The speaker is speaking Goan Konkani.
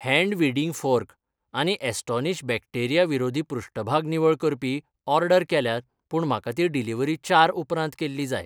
हैन्ड वीडिंग फॉर्क आनी ॲस्टोनिश बॅक्टेरिया विरोधी पृष्ठभाग निवळ करपी ऑर्डर केल्यात पूण म्हाका ती डिलिव्हरी चार उपरांत केल्ली जाय.